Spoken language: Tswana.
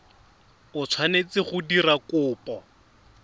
o tshwanetseng go dira kopo